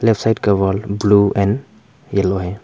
एक साइड का wall blue and yellow है।